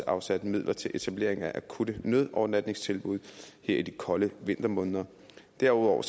afsat midler til etablering af akutte nødovernatningstilbud her i de kolde vintermåneder derudover